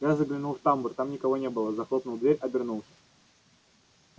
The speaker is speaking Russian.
я заглянул в тамбур там никого не было захлопнул дверь обернулся